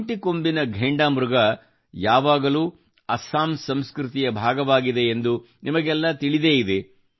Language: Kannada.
ಒಂದು ಕೊಂಬಿನ ಘೇಂಡಾಮೃಗ ಯಾವಾಗಲೂ ಅಸ್ಸಾಂ ಸಂಸ್ಕೃತಿಯ ಭಾಗವಾಗಿದೆ ಎಂದು ನಿಮಗೆಲ್ಲಾ ತಿಳಿದೇ ಇದೆ